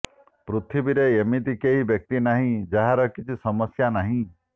ପୃଥିବୀରେ ଏମିତି କେହି ବ୍ୟକ୍ତି ନାହିଁ ଯାହାର କିଛି ସମସ୍ୟା ନାହିଁ